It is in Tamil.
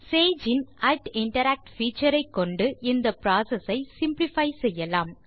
சேஜ் இன் interact பீச்சர் ஐ கொண்டு இந்த புரோசெஸ் ஐ சிம்ப்ளிஃபை செய்யலாம்